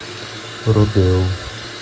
родео